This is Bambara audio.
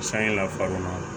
Sanye lafa kɔnɔ